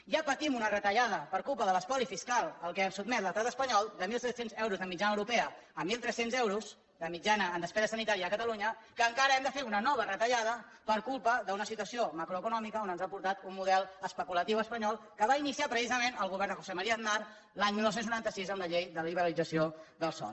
ja patim una retallada per culpa de l’espoli fiscal a què ens sotmet l’estat espanyol de mil set cents euros de mitjana europea a mil tres cents eu ros de mitjana en despesa sanitària a catalunya que encara hem de fer una nova retallada per culpa d’una situació macroeconòmica on ens ha portat un model especulatiu espanyol que va iniciar precisament el govern de josé maría aznar l’any dinou noranta sis amb la llei de liberalització del sòl